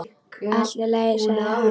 Allt í lagi, sagði hann.